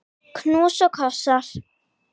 Knús og kossar.